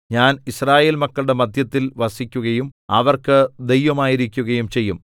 ഞാൻ യിസ്രായേൽ മക്കളുടെ മദ്ധ്യത്തിൽ വസിക്കുകയും അവർക്ക് ദൈവമായിരിക്കയും ചെയ്യും